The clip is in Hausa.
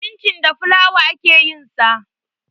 Cincin da fulawa ake yin sa.